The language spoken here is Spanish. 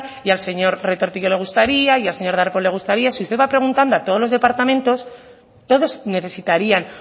y al señor retortillo le gustaría al señor darpón le gustaría si usted va preguntando a todos los departamentos todos necesitarían